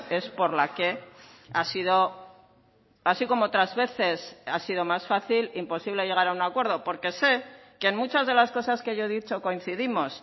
es por la que ha sido así como otras veces ha sido más fácil imposible llegar a un acuerdo porque sé que en muchas de las cosas que yo he dicho coincidimos